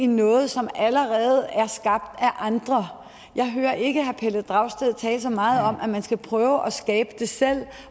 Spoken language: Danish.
noget som allerede er skabt af andre jeg hører ikke herre pelle dragsted tale så meget om at man skal prøve at skabe det selv